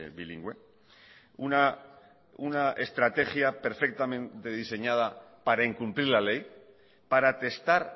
bilingüe una estrategia perfectamente diseñada para incumplir la ley para testar